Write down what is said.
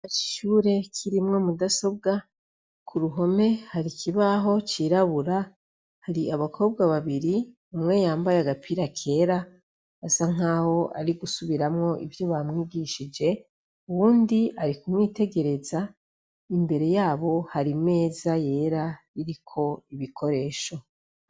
Igishure kirimwo mudasobwa, k'uruhome hari ikibaho cirabura. Hari abakobwa babiri, umwe yambaye agapira kera, bisa nk'aho ari gusubiramwo ivyo bamwigishije, uwundi ari kumwitegereza. Imbere yabo hari imeza yera iriko ibikoresho.